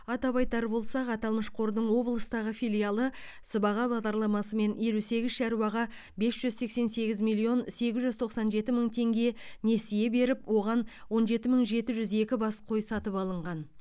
атап айтар болсақ аталмыш қордың облыстағы филиалы сыбаға бағдарламасымен елу сегіз шаруаға бес жүз сексен сегіз миллион сегіз жүз тоқсан жеті мың теңге несие беріп оған он жеті мың жеті жүз екі бас қой сатып алынған